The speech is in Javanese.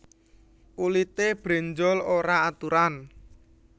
Kulité brenjol ora aturan